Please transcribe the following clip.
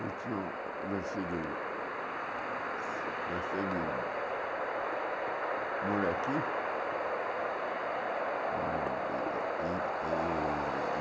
Eles tinham nascido... Nascido nascido... Moleque.